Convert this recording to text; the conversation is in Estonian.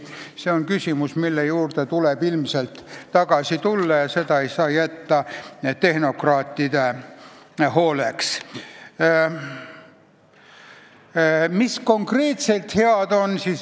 See on küsimus, mille juurde tuleb ilmselt tagasi tulla, sest seda ei saa jätta tehnokraatide hooleks.